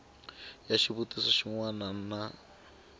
ya xivutiso xin wana ni